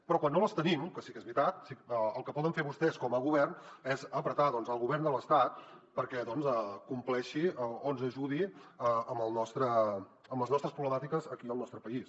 però quan no les tenim que sí que és veritat el que poden fer vostès com a govern és apretar el govern de l’estat perquè compleixi o ens ajudi amb les nostres problemàtiques aquí al nostre país